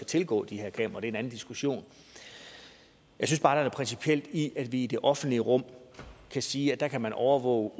tilgå de her kameraer en anden diskussion jeg synes bare der er noget principielt i at vi om det offentlige rum kan sige at der kan man overvåge